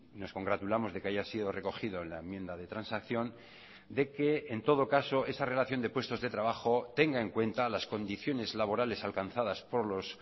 nos congratulamos de que haya sido recogido en la enmienda de transacción de que en todo caso esa relación de puestos de trabajo tenga en cuenta las condiciones laborales alcanzadas por los